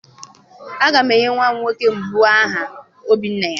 Agam enye nwa nwoke mbụ m aha Obinaya.